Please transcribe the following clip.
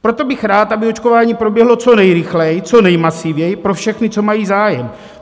Proto bych rád, aby očkování proběhlo co nejrychleji, co nejmasivněji pro všechny, co mají zájem.